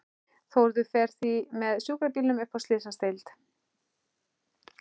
Þórður fer því með sjúkrabílnum upp á slysadeild.